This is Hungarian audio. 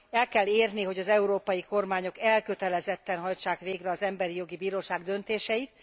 El kell érni, hogy az európai kormányok elkötelezetten hajtsák végre az Emberi Jogi Bíróság döntéseit.